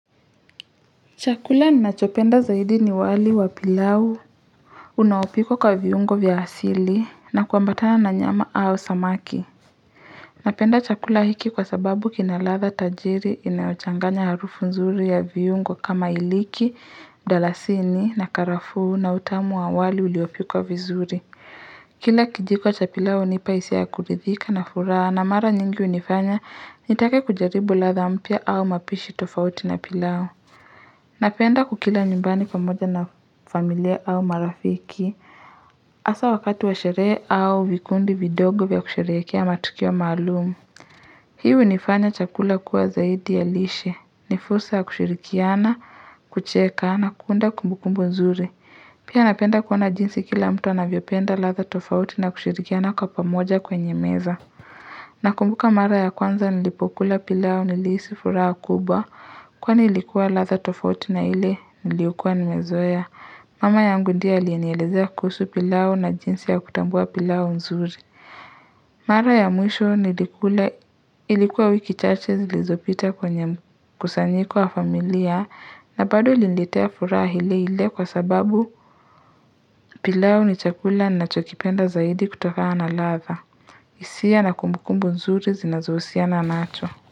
Chakula nachopenda zaidi ni wali wa pilau. Unaopikwa kwa viungo vya asili na kuambatana na nyama au samaki. Napenda chakula hiki kwa sababu kina ladha tajiri inayochanganya harufu nzuri ya viungo kama iliki, mdalasini na karafuu na utamu wa wali uliopikwa vizuri. Kila kijiko cha pilau hunipa hisia ya kuridhika na furaha na mara nyingi hunifanya nitake kujaribu ladha mpya au mapishi tofauti na pilau. Napenda kukila nyumbani pamoja na familia au marafiki, asa wakati wa sherehe au vikundi vidogo vya kusherehekea matukio maalumu. Hii hunifanya chakula kuwa zaidi ya lishe, ni fursa ya kushirikiana, kucheka na kuunda kumbukumbu nzuri. Pia napenda kuona jinsi kila mtu anavyopenda ladha tofauti na kushirikiana kwa pamoja kwenye meza. Nakumbuka mara ya kwanza nilipokula pilau nilihisi furaha kubwa kwani ilikuwa ladha tofauti na ile niliyokua nimezoea. Mama yangu ndie aliyenielezea kuhusu pilau na jinsi ya kutambua pilau nzuri. Mara ya mwisho nilikula ilikuwa wiki chache zilizopita kwenye mkusanyiko wa familia na bado ilinilitea furaha ile ile kwa sababu pilau ni chakula nachokipenda zaidi kutokana na ladha. Hisia na kumbukumbu nzuri zinazohusiana nacho.